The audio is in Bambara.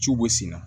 Ciw bɛ sen na